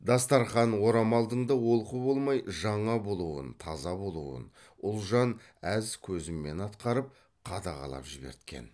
дастарқан орамалдың да олқы болмай жаңа болуын таза болуын ұлжан әз көзімен атқарып қадағалап жіберткен